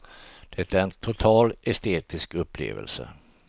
Den är en total estetisk upplevelse.